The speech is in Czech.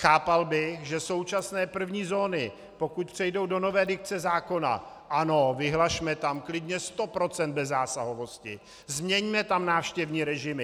Chápal bych, že současné první zóny, pokud přejdou do nové dikce zákona, ano, vyhlašme tam klidně 100 % bezzásahovosti, změňme tam návštěvní režimy.